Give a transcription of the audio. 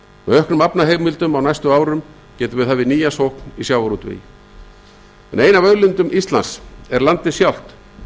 auknum aflaheimildum á næstu árum getum við hafið nýja sókn í sjávarútvegi ein af auðlindum íslands er landið sjálft